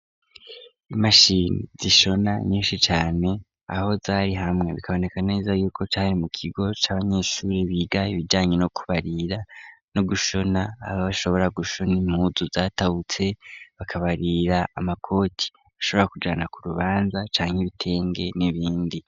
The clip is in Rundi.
Imashini zishona nyinshi cane aho zari hamwe bikaboneka neza yuko cari mu kigo c'abanyeshure biga ibijanye no kubarira no gushona, aho bashobora gushona impuzu zatahutse bakabarira amakoki ashobora kujana ku rubanza cane ibitenge n'ibindi.